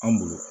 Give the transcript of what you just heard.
An bolo